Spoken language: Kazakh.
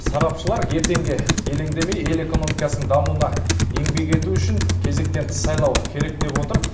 сарапшылар ертеңге елеңдемей ел экономикасының дамуына еңбек ету үшін кезектен тыс сайлау керек деп отыр